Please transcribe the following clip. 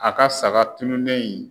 A ka saga tununnen in